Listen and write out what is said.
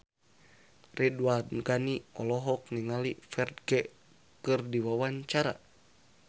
Ridwan Ghani olohok ningali Ferdge keur diwawancara